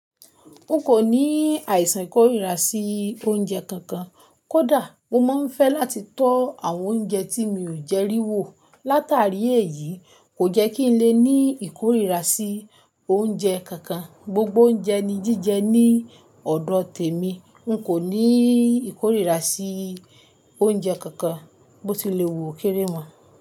N kò ní àìsàn ìkórìíra sí oúnjẹ kankan. Kódà mo máa ń fẹ́ láti tọ́ àwọn oúnjẹ tí mi ò jẹ rí wò. Látàrí èyí, kò jẹ́ kí n lè ní ìkórìíra sí oúnjẹ kankan. Gbogbo oúnjẹ ni jíjẹ ní ọ̀dọ̀ tèmi. N kò ní ìkórìíra sí oúnjẹ kankan, bó ti lè wò ó kéré wọn.